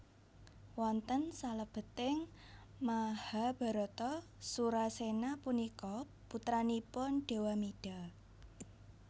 Wonten salebeting Mahabharata Surasena punika putranipun Dewamida